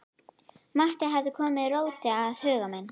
Matti hafði komið róti á huga minn.